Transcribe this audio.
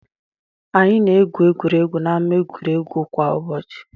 Anyị na-egwu egwuregwu n'ámá egwuregwu kwa ụbọchị.